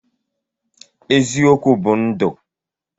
Eziokwu bu ndu.